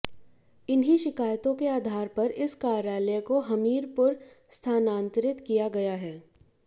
इन्हीं शिकायतों के आधार पर इस कार्यालय को हमीरपुर स्थानांतरित किया गया है